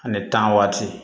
Ani tan waati